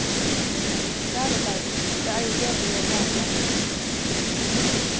Kjære deg, det er jo det vi gjør hver dag.